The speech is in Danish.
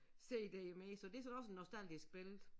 Cd mere så det så også en nostalgisk billede